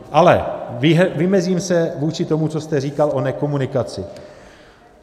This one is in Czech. Ale vymezím se vůči tomu, co jste říkal o nekomunikaci.